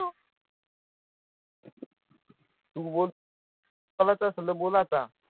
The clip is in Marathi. तु बोल बोलायचं असेल तर बोल आता